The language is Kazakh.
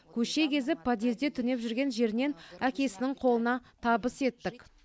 көше кезіп подъезде түнеп жүрген жерінен әкесінің қолына табыс еттік